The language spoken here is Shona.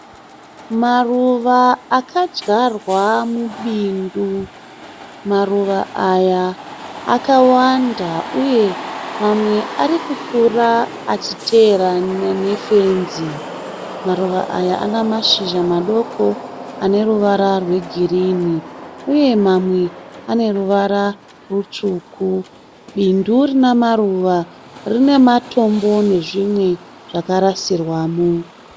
Maruva akadyarwa mubindu. Maruva aya akawanda uye mamwe ari kukura achiteerana nefenzi. Maruva aya ane mashizha madoko ane ruvara rwegirinhi uye mamwe ane ruvara rutsvuku. Bindu rine maruva rine matombo nezvimwe zvakarasirwamo.